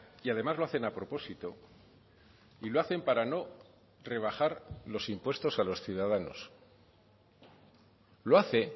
y además lo hacen a propósito y lo hacen para no rebajar los impuestos a los ciudadanos lo hace